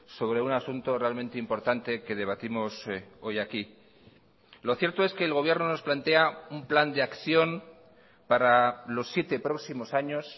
sobre un asunto realmente importante que debatimos hoy aquí lo cierto es que el gobierno nos plantea un plan de acción para los siete próximos años